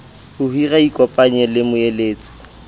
ho hira ikopanyeng le moeletsi